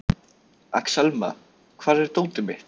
Axelma, hvar er dótið mitt?